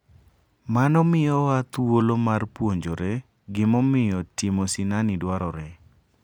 Mano miyowa thuolo mar puonjore gimomiyo timo sinani dwarore.